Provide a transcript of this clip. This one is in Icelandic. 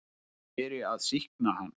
Því beri að sýkna hann.